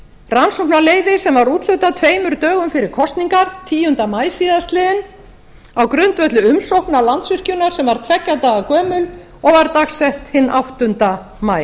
rannsóknarleyfi sem var úthlutað tveimur dögum fyrir kosningar tíunda maí síðastliðinn á grundvelli umsókna landsvirkjunar sem var tveggja daga gömul og var dagsett áttunda maí